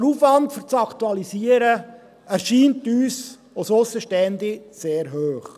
Der Aufwand für die Aktualisierung erscheint uns Aussenstehenden sehr hoch.